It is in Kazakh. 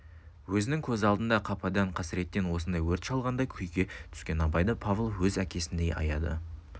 өзінің көз алдында қападан қасіреттен осындай өрт шалғандай күйге түскен абайды павлов өз әкесіндей аяды